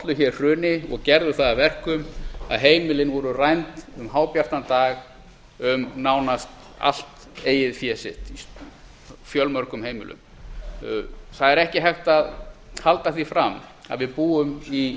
ollu hér hruni og gerðu það að verkum að heimilin voru rænd um hábjartan dag um nánast allt eigið fé sitt á fjölmörgum heimilum það er ekki hægt að halda því fram að við búum í